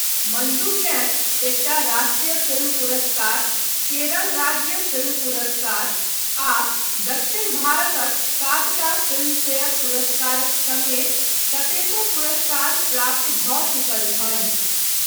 मंजूकेँ एकटा राष्ट्रीय फिल्म पुरस्कार, केरल राज्य फिल्म पुरस्कार आ दक्षिण भारतक सातटा फिल्मफेयर पुरस्कारक समेत कतेको पुरस्कार प्राप्त भऽ चुकल छनि।